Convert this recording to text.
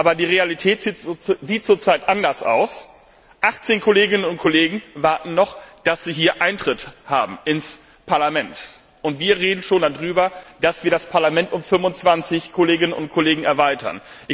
Aber die Realität sieht zurzeit anders aus 18 Kolleginnen und Kollegen warten noch, dass sie hier Eintritt haben ins Parlament, und wir reden schon darüber, dass wir das Parlament um 25 Kolleginnen und Kollegen erweitern.